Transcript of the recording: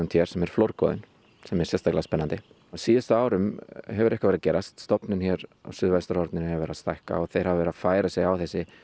hér sem er flórgoði sem er sérstaklega spennandi á síðustu árum hefur eitthvað verið að gerast stofninn hér á suðvestur horninu hefur verið að stækka þeir hafa verið að færa sig á þessi